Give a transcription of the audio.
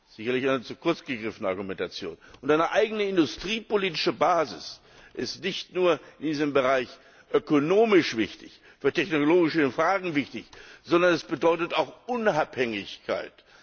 Sicherlich eine zu kurz gegriffene Argumentation. Und eine eigene industriepolitische Basis ist nicht nur in diesem Bereich ökonomisch wichtig, für technologische Fragen wichtig, sondern sie bedeutet auch Unabhängigkeit.